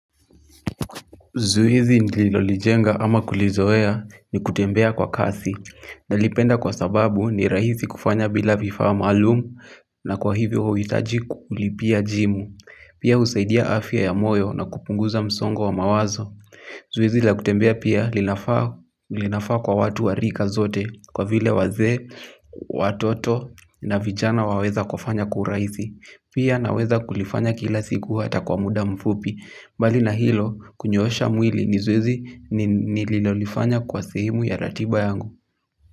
Zoezi nililolijenga ama kulizoea ni kutembea kwa kasi. Nalipenda kwa sababu ni rahisi kufanya bila vifaa maalum na kwa hivyo huhitaji kulipia jimu. Pia husaidia afya ya moyo na kupunguza msongo wa mawazo. Zoezi la kutembea pia linafaa kwa watu wa rika zote kwa vile wazee, watoto na vijana waweza kufanya kwa urahisi. Pia naweza kulifanya kila siku hata kwa muda mfupi. Mbali na hilo kunyoosha mwili ni zoezi nililolifanya kwa sehemu ya ratiba yangu.